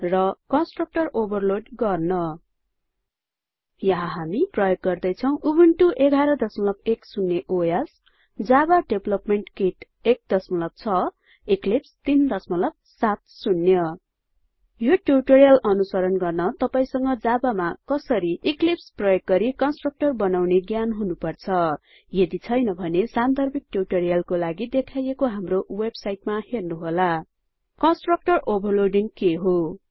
र constructorओभरलोड गर्न यहाँ हामी प्रयोग गर्दैछौं Ubuntu version 1110 OS Java development kit 16 Eclipse 370 यो ट्युटोरियल अनुसरण गर्न तपाइसंग javaमा कसरीeclipseप्रयोग गरि constructorबनाउने ज्ञान हुनुपर्छ यदि छैन भने सान्दर्भिक ट्युटोरियलको लागि देखाईएको हाम्रो वेबसाइटमा हेर्नुहोला httpwwwspoken tutorialओर्ग कन्स्ट्रक्टर ओभरलोडिंग के हो